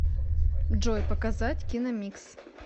джой показать киномикс